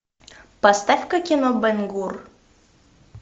поставь ка кино бен гур